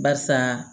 Barisa